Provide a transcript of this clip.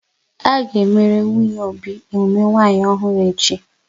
A ga emere nwunye Obi emume nwanyi ọhụrụ echi